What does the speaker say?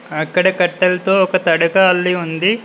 అక్కడ కట్టెల్తో ఒక తడక అల్లి ఉంది.